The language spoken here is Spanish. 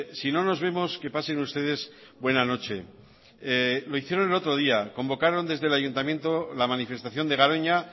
si no nos vemos que pasen ustedes buena noche lo hicieron el otro día convocaron desde el ayuntamiento la manifestación de garoña